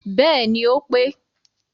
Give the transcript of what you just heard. Bẹẹni ó pé